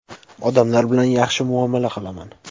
Odamlar bilan yaxshi muomala qilaman.